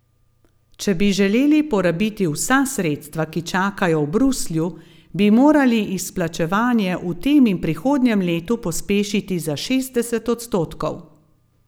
Če bi želeli porabiti vsa sredstva, ki čakajo v Bruslju, bi morali izplačevanje v tem in prihodnjem letu pospešiti za šestdeset odstotkov.